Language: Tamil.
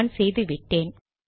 நான் செய்து விட்டேன்